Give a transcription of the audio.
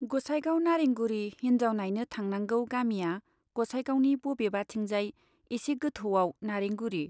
गोसाइगाव नारेंगुरी हिन्जाव नाइनो थांनांगौ गामिया गसाइगावनि बबेबाथिंजाय एसे गोथौवाव नारेंगुरी।